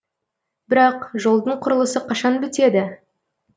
бірақ жолдың құрылысы қашан бітеді